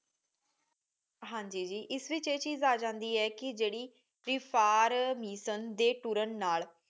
ਹਾਂਜੀ ਜੀ ਏਸ ਵਿਚ ਇਹ ਚੀਜ਼ ਆ ਜਾਂਦੀ ਹੈ ਕਿ ਜਿਹੜੀ ਵਿਪਹਾਰ ਮੀਸਣ ਦੇ ਤੁਰਨ ਨਾਲ